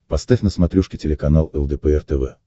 поставь на смотрешке телеканал лдпр тв